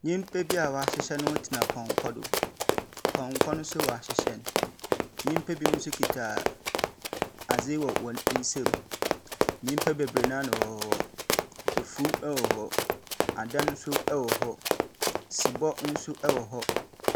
Nyimpa bi a ɔahyehyɛ noho tsena pɔnkɔ do. Pɔnkɔ no nso ɔahyehyɛ no. Nyimpa binom nso kita aadze wɔ hɔn nsamu. Nyimpa beberee no ara na wɔwɔ hɔ. Efuw hɔ hɔ, adan nso wɔ hɔ. Sebɔ nso wɔ hɔ.